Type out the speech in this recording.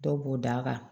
Dɔw b'o da kan